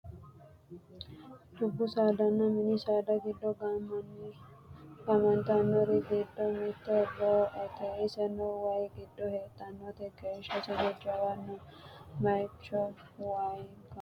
dubbu saadanna mini saada giddo gaamantannori giddo mitte roo"ete iseno waye giddo heedhannote geeshshaseno jawate noo bayeechino waye gama ikkasiiti